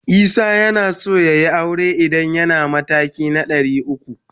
Isah yanaso yayi aure idan yana matakin 300.